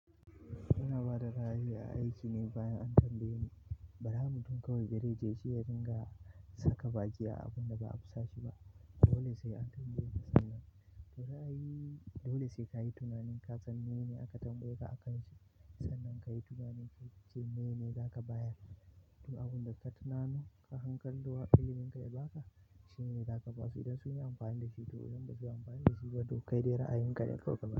Ina ba da ra'ayi a aiki ne bayan an tambaye ni. Bara mutum kawai da zai, shi ya dinga saka baki a abun da ba a a sashi ba. Dole sai an tambayeka aka to ra'ayi dole sai kayi tunani in aka tambayeka a kanshi sannan kayi tunanin ka ga me zaka bayar tun abun da ka tunano, ko hankalin wa ilimin ka ya baka shine za ka basu idan sun yi amfani da shi to, idan ba su yi amfani da shi ba to kai dai ra'ayinka ne kawai ka bayar.